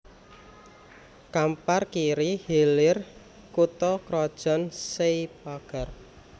Kampar Kiri Hilir kutha krajan Sei Pagar